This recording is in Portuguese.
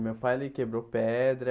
O meu pai ele quebrou pedra,